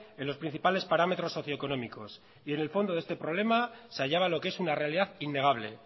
en los principales parámetros socioeconómicos y en el fondo de este problema se hallaba lo que es una realidad innegable